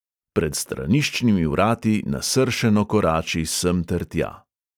Pred straniščnimi vrati nasršeno korači semtertja.